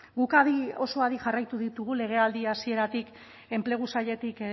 guk adi oso adi jarraitu ditugu legealdi hasieratik enplegu sailetik